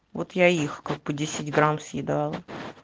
вот я их как бы десять грамм съедала